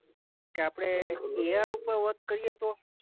કે આપણે એ આર ઉપર વર્ક કરીએ તો?